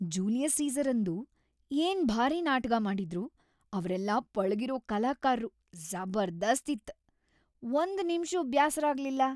Julius ಸೀಸರಂದು ಏನ್‌ ಭಾರಿ ನಾಟಗಾ ಮಾಡಿದ್ರು ಅವ್ರೆಲ್ಲಾ ಪಳಗಿರೋ ಕಲಾಕಾರ್ರು ಜಬರ್ದಸ್ತ್‌ ಇತ್‌ ಒಂದ್‌ ನಿಮ್ಷೂ ಬ್ಯಾಸ್ರ ಆಗ್ಲಿಲ್ಲ.